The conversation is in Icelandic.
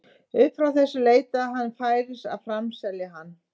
Upp frá þessu leitaði hann færis að framselja hann.